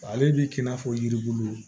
Ale bi k'i n'a fɔ yiribulu